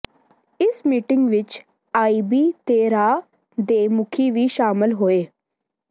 ਇਸ ਮੀਟਿੰਗ ਵਿੱਚ ਆਈਬੀ ਤੇ ਰਾਅ ਦੇ ਮੁਖੀ ਵੀ ਸ਼ਾਮਲ ਹੋਏ